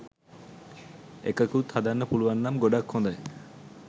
එකකුත් හදන්න පුලුවන්නම් ගොඩක් හොදයි.